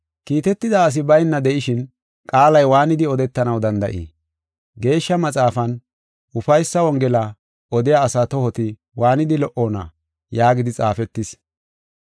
Kiitetida asi bayna de7ishin, qaalay waanidi odetanaw danda7ii? Geeshsha Maxaafan, “Ufaysa Wongela odiya asaa tohoti waanidi lo77oona!” yaagidi xaafetis.